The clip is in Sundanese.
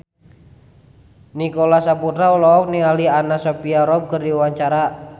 Nicholas Saputra olohok ningali Anna Sophia Robb keur diwawancara